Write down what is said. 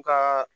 Ka